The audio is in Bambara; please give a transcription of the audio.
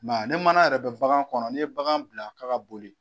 I man ye ni mana yɛrɛ bɛ bagan kɔnɔ n'i ye bagan bila k'a ka boli